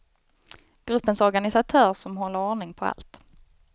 Gruppens organisatör som håller ordning på allt.